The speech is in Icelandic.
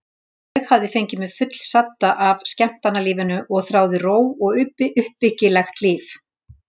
Ég hafði fengið mig fullsadda af skemmtanalífinu og þráði ró og uppbyggilegt líf.